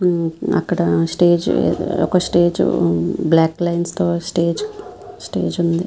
అక్కడ స్టేజ్ ఒక స్టేజ్ ఉంది బ్లాక్ లైన్స్ తో స్టేజ్ స్టేజ్ ఉంది.